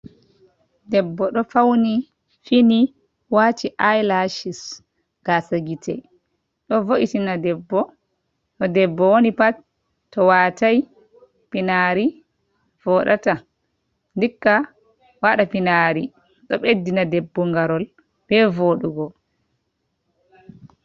Debbo ɗo fauni wati i'lashis gasa gite, ɗo vo’itina bo debbo woni pat to watai pinari voɗata dikka waɗa finari ɗo beddina debbo ngarol be voɗugo.